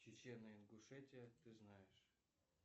чечено ингушетия ты знаешь